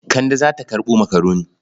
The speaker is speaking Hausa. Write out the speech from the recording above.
Kande za ta karɓo makaroni.